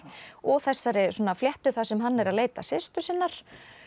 og þessari fléttu þar sem hann er að leita systur sinnar